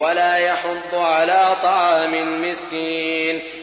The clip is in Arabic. وَلَا يَحُضُّ عَلَىٰ طَعَامِ الْمِسْكِينِ